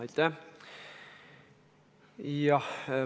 Aitäh!